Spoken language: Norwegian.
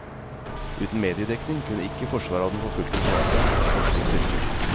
Uten mediedekning kunne ikke forsvaret av den forfulgte forfatteren fått slik styrke.